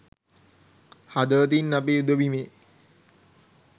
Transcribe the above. හදවතින් අපි යුධ බිමේ